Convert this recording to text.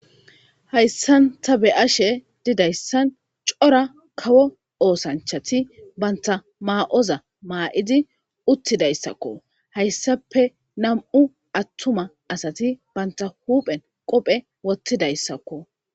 hayssanta be ashe didayssan cora kawo oosanchati banta maa7oza maa7idi uttidayssakko hayssape nam7u attuma asati banta huuphen qophe wottidayssakko